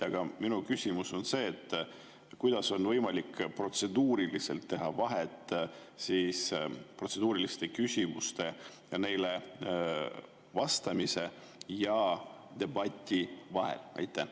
Aga minu küsimus on: kuidas on võimalik protseduuriliselt teha vahet protseduuriliste küsimuste ja neile vastamise ning debati vahel?